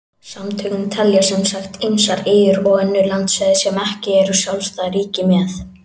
Samtökin telja sem sagt ýmsar eyjar og önnur landsvæði sem ekki eru sjálfstæð ríki með.